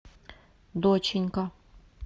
доченька